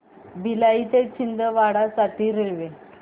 भिलाई ते छिंदवाडा साठी रेल्वे